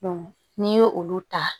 n'i ye olu ta